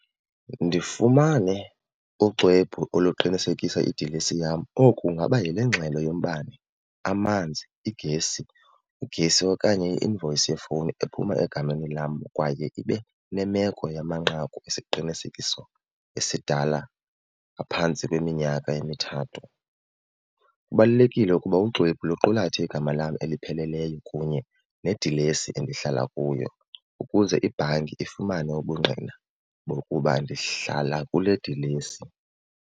Ndifumane uxwebhu oluqinisekisa idilesi yam oku ingaba yile ngxelo yombane, amanzi, iigesi, ugesi okanye i-invoice yefowuni ephuma egameni lam kwaye ibe nemeko yamanqaku esiqinisekiso esidala ngaphantsi kweminyaka emithathu. Kubalulekile ukuba uxwebhu luqulathe igama lam elipheleleyo kunye nedilesi endihlala kuyo ukuze ibhanki ifumane ubungqina bokuba ndihlala kule dilesi.